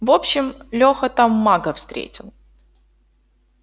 в общем лёха там мага встретил